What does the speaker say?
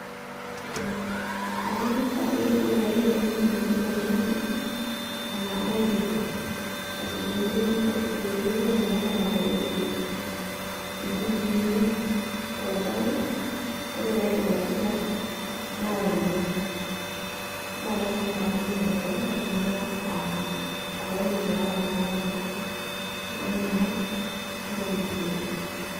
Akang'asa ake ore paitayu ele ng'anayioi tolchani, naituku. Aisujaa enterit ashu oloiterio, elelek etaporoitie inkukuuni, tolchani, ore paidip aisuja, naonyu. Melasima padung' tenkalem, kaidim ake atoonyu toolala lainei, naanyal, naijoo.